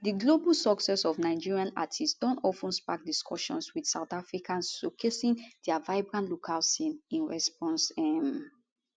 di global success of nigerian artists don of ten spark discussions wit south africans showcasing dia vibrant local scene in response um